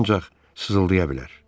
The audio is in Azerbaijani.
Onlar ancaq sızıldaya bilər.